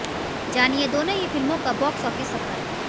जानिए दोनों ही फिल्मों का बॉक्स ऑफिस सफर